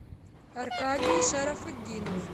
аркадий шарафутдинов